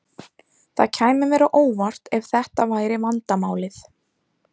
Það kæmi mér á óvart ef þetta væri vandamálið.